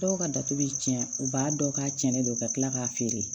Dɔw ka datugu bɛ tiɲɛ u b'a dɔn k'a cɛnnen don ka kila k'a feere